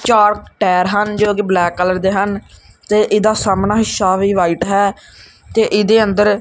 ਚਾਰ ਟਾਇਰ ਹਨ ਜੋ ਕੀ ਬਲੈਕ ਕਲਰ ਦੇ ਹਨ ਤੇ ਇਹਦਾ ਸਾਹਮਣਾ ਹਿੱਸਾ ਵੀ ਵ੍ਹਾਈਟ ਹੈ ਤੇ ਏਹਦੇ ਅੰਦਰ--